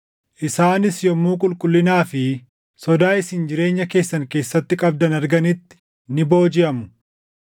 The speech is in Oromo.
isaanis yommuu qulqullinaa fi sodaa isin jireenya keessan keessatti qabdan arganitti ni boojiʼamu.